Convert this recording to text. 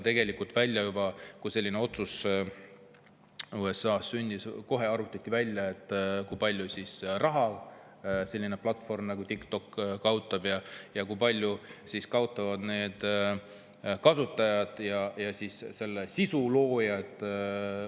Kui selline otsus USA‑s sündis, siis kohe arvutati välja, kui palju raha selline platvorm nagu TikTok kaotaks ning kui palju kaotaksid tulu selle kasutajad ja sealsed sisuloojad.